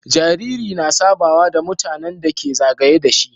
Jariri na sabawa da mutAnan da ke zagaye dashi